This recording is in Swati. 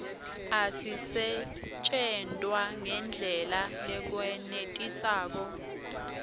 asisetjentwa ngendlela lekwenetisako